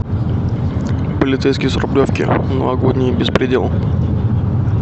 полицейский с рублевки новогодний беспредел